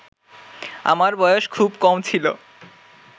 আমার বয়স খুব কম ছিল